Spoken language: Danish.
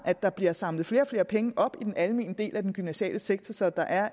at der bliver samlet flere og flere penge op i den almene del af den gymnasiale sektor så der er